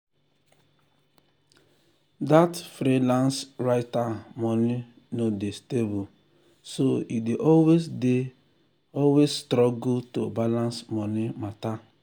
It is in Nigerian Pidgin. that freelance writer money no dey stable so e dey always dey always struggle to balance money matter.